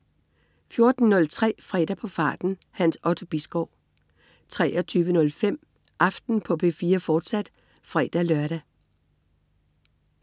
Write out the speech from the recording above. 14.03 Fredag på farten. Hans Otto Bisgaard 23.05 Aften på P4, fortsat (fre-lør)